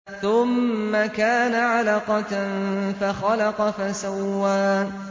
ثُمَّ كَانَ عَلَقَةً فَخَلَقَ فَسَوَّىٰ